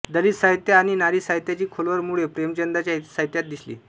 दलित साहित्य आणि नारी साहित्याची खोलवर मुळे प्रेमचंदांच्या साहित्यात दिसली